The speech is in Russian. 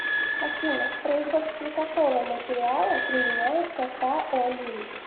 афина в производстве какого материала применяется каолин